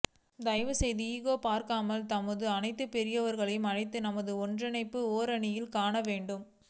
தயவு செய்து செய்து ஈகோ பார்க்காமல் நமதூர் அனைத்து பெரியவர்களையும் அழைத்து நமது ஒற்றுமையை ஓரணியில் காண வேண்டும்